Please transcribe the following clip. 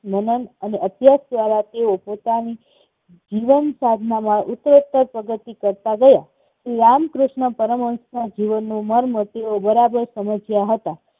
મનન અને અભ્યાસ દ્વારા તેઓ પોતાના જીવન સાધનામાં ઉત્તરોત્તર પ્રગતિ કરતા ગયા. શ્રી રામકૃષ્ણ પરમહંસના જીવનનો મર્મ તેઓ બરાબર સમજ્યા હતા.